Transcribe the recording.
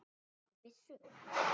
Áttu byssu?